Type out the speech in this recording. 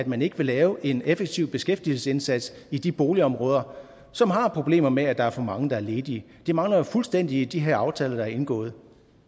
man ikke lave en effektiv beskæftigelsesindsats i de boligområder som har problemer med at der er for mange der er ledige det mangler jo fuldstændig i de her aftaler der er indgået